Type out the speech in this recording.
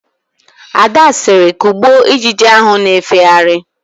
Ada sịrị, "kụgbụo ijiji ahụ na-efegharị"!